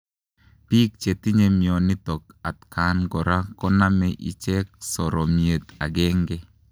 Piik chetinye mionitok atkaan kora konamee icheek soromiet agenge